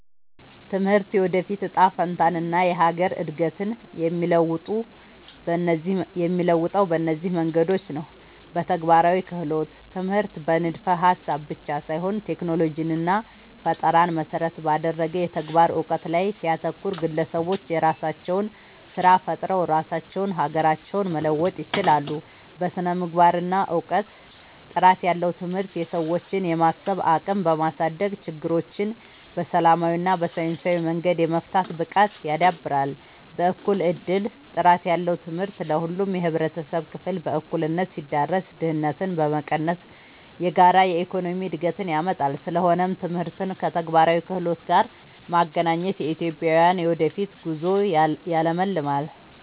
ትምህርት የወደፊት እጣ ፈንታንና የሀገርን እድገት የሚለውጠው በእነዚህ መንገዶች ነው፦ በተግባራዊ ክህሎት፦ ትምህርት በንድፈ-ሀሳብ ብቻ ሳይሆን ቴክኖሎጂንና ፈጠራን መሰረት ባደረገ የተግባር እውቀት ላይ ሲያተኩር፣ ግለሰቦች የራሳቸውን ስራ ፈጥረው ራሳቸውንና ሀገራቸውን መለወጥ ይችላሉ። በስነ-ምግባርና እውቀት፦ ጥራት ያለው ትምህርት የሰዎችን የማሰብ አቅም በማሳደግ፣ ችግሮችን በሰላማዊና በሳይንሳዊ መንገድ የመፍታት ብቃትን ያዳብራል። በእኩል እድል፦ ጥራት ያለው ትምህርት ለሁሉም የህብረተሰብ ክፍል በእኩልነት ሲዳረስ፣ ድህነትን በመቀነስ የጋራ የኢኮኖሚ እድገትን ያመጣል። ስለሆነም ትምህርትን ከተግባራዊ ክህሎት ጋር ማገናኘት የኢትዮጵያን የወደፊት ጉዞ ያለምልማል።